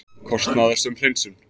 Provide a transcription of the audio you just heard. Kostnaðarsöm hreinsun